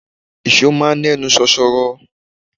Ìṣọ́ máa ń ẹnu ṣoṣoro.